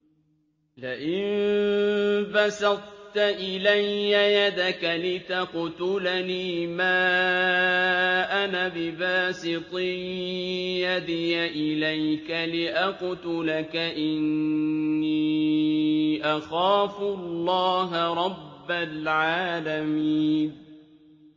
لَئِن بَسَطتَ إِلَيَّ يَدَكَ لِتَقْتُلَنِي مَا أَنَا بِبَاسِطٍ يَدِيَ إِلَيْكَ لِأَقْتُلَكَ ۖ إِنِّي أَخَافُ اللَّهَ رَبَّ الْعَالَمِينَ